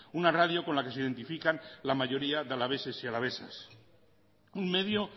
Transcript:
una radio con la que se identifican la mayoría de alaveses y alavesas un medio